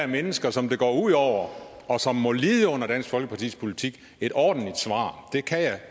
mennesker som det går ud over og som må lide under dansk folkepartis politik et ordentligt svar det kan jeg